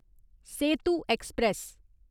Setu express